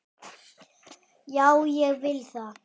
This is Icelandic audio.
Já, ég vil það.